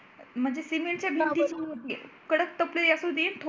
म्हणजे सिमेंटच्या भिंती कडक तपलेले असू देत